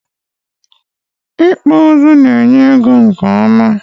Ịkpụ ụzụ na-enye ego nke ọma.